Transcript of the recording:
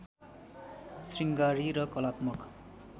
श्रृङ्गारी र कलात्मक